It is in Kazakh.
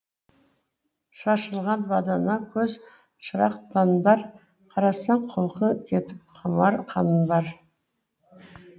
шашылған бадана көз шырақтандар қарасаң құлқың кетіп құмар қанбар